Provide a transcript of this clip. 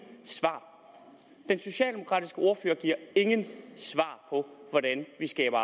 svar den socialdemokratiske ordfører giver ingen svar på hvordan vi skaber